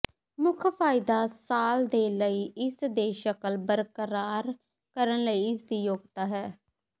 ਮੁੱਖ ਫਾਇਦਾ ਸਾਲ ਦੇ ਲਈ ਇਸ ਦੇ ਸ਼ਕਲ ਬਰਕਰਾਰ ਕਰਨ ਲਈ ਇਸ ਦੀ ਯੋਗਤਾ ਹੈ